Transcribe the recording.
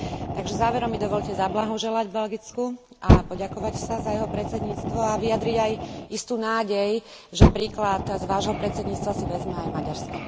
Takže záverom mi dovoľte zablahoželať Belgicku a poďakovať sa za jeho predsedníctvo a vyjadriť aj istú nádej, že príklad z vášho predsedníctva si vezme aj Maďarsko.